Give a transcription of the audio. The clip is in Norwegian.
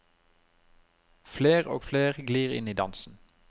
Fler og fler glir inn i dansen.